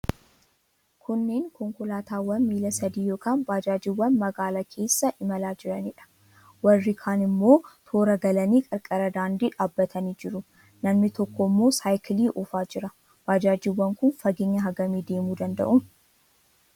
Kunneen konkolaatawwan miila sadii yookaan baajaajiiwwan magaalaa keessa imalaa jiraniidha. Warri kaan immoo toora galanii qarqara daandii dhaabbatanii jiru. Namni tokko immoo saayikilii oofaa jira. Baajaajiiwwan kun fageenya hangamii deemuu danda'u?